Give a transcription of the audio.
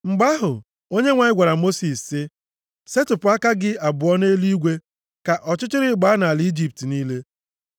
Mgbe ahụ, Onyenwe anyị gwara Mosis sị, “Setịpụ aka gị abụọ nʼeluigwe ka ọchịchịrị gbaa nʼala Ijipt niile.”